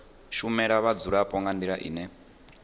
shumela vhadzulapo nga ndila ine